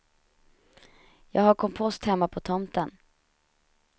Jag har kompost hemma på tomten.